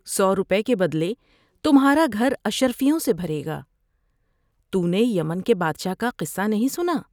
سو روپے کے بدلے تمھارا گھر اشرفیوں سے بھرے گا۔ تو نے یمن کے بادشاہ کا قصہ نہیں سنا ؟